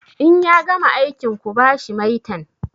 In ya gama aikin ku ba shi maitan!